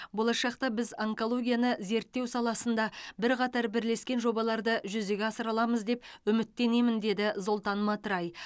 болашақта біз онкологияны зерттеу саласында бірқатар бірлескен жобаларды жүзеге асыра аламыз деп үміттенемін деді золтан матрай